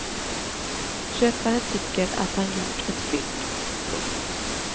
Köparen tycker att han gjort ett fynd. punkt